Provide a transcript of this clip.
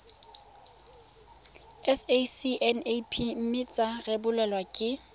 sacnap mme tsa rebolwa ke